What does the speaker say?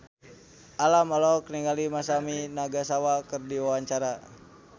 Alam olohok ningali Masami Nagasawa keur diwawancara